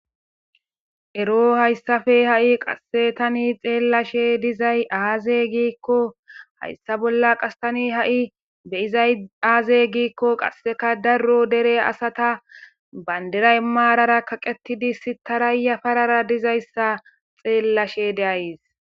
Ero hayssafe ha7i qasse tani xeellashe dizay aaze giikko hayssa bolla qastani ha7i beyizay aaze giikko qasseka daro dere asata bandiray maarara kaqetidi sitarayya parara dizayssa xeellashe deayys.